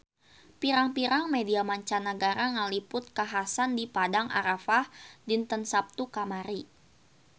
Pirang-pirang media mancanagara ngaliput kakhasan di Padang Arafah dinten Saptu kamari